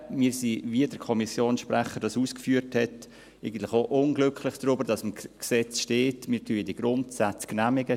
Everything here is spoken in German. Wir sind, wie der Kommissionssprecher dies ausgeführt hat, eigentlich auch unglücklich darüber, dass im Gesetz steht, dass wir die Grundsätze genehmigen.